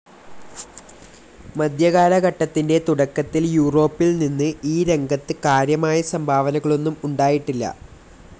മധ്യകാലഘട്ടത്തിന്റെ തുടക്കത്തിൽ യൂറോപ്പിൽനിന്ന് ഈ രംഗത്ത് കാര്യമായ സംഭാവനകളൊന്നും ഉണ്ടായിട്ടില്ല.